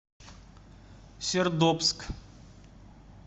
сердобск